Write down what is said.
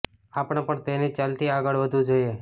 આપણે પણ તેની જ ચાલથી આગળ વધવું જોઈએ